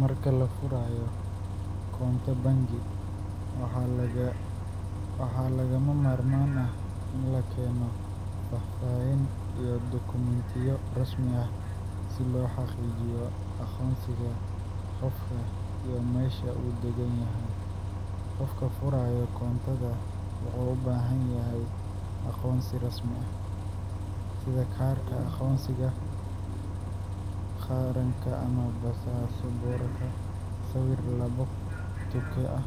Marka lafurayo koonto bangi, waxa lagamamarman ah in lakeno fafaahin iyo document rasmi ah, si lohagijiyo agonsiga gofka iyo mesha uu daganyahay, gofka furayo koontada wuxu ubahanyahay agonsi rasmi ah, sida karka agoonsiga qaranka ama passport sawir labo tuka ah,